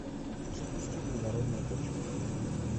запусти плодородная почва